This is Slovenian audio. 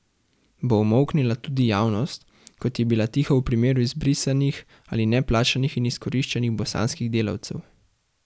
Bo umolknila tudi javnost, kot je bila tiho v primeru izbrisanih ali neplačanih in izkoriščanih bosanskih delavcev?